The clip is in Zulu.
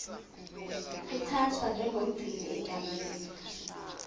uthathwa njengomgcini egameni